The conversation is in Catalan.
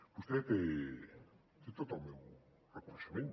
vostè té tot el meu reconeixement